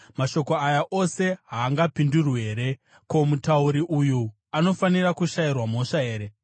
“Mashoko aya ose haangapindurwi here? Ko, mutauri uyu anofanira kushayirwa mhosva here?